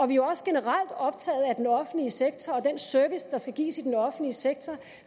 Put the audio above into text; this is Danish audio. vi er også generelt optaget af den offentlige sektor og den service der skal gives i den offentlige sektor